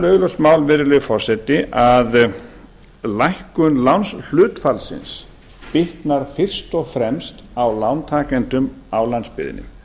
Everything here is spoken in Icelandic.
augljóst mál virðulegi forseti að lækkun lánshlutfallsins bitnar fyrst og fremst á lántakendum á landsbyggðinni